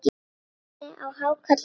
Hvernig á hákarl að vera?